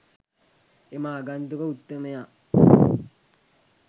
එම ආගන්තුක උත්තමයා